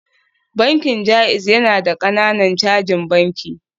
Bankin JAIZ yana da ƙananan cajin banki